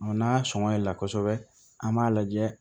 n'a sɔnna a la kosɛbɛ an b'a lajɛ